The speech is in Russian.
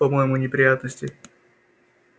по-моему неприятности